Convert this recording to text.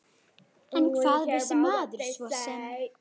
En hvað vissi maður svo sem?